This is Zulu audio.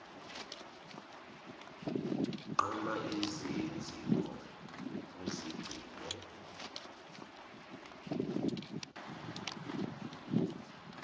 nquma izinzipho uzigcine